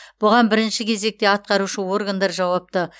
бұған бірінші кезекте атқарушы органдар жауапты